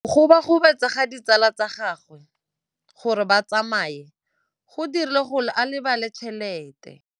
Go gobagobetsa ga ditsala tsa gagwe, gore ba tsamaye go dirile gore a lebale tšhelete.